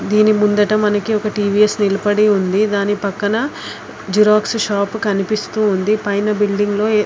దిని ముందట ఒక్కటి టీ-వీ-ఎస్ నిలపడి ఉంది. దాని పక్కన జెరొక్ష్ షాప్ కనిపిస్తుంది పైన బుల్దింగ్ లో ఎ --